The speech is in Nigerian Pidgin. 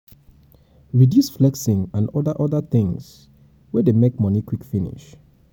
reduce flexing and oda oda things wey dey make money dey quick finish